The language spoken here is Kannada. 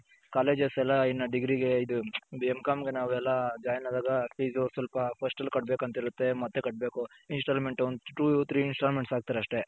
colleges ಎಲ್ಲಾ ಡಿಗ್ರಿಗೆ ಇದು ಎಂ ಕಂ ಗೆ ನಾವು ಎಲ್ಲ join ಅದಾಗ fees ಸ್ವಲ್ಪ first ಅಲ್ಲಿ ಕಟ್ಬೇಕು ಅಂತ ಇರುತೆ ಮತ್ತೆ ಕಟ್ಟಬೇಕು installment ಒಂದು two three installment ಹಾಕ್ತಾರೆ ಅಷ್ಟೆ.